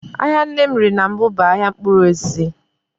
Ahịa nne m rere na mbụ bụ ahịa mkpụrụosisi